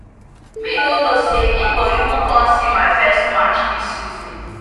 me no know say e go even come see my first match this season